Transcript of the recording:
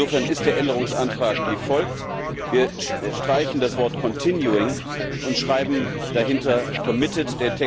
Insofern ist der Änderungsantrag wie folgt Wir streichen das Wort continuing und schreiben dahinter committed